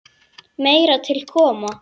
Meira til koma.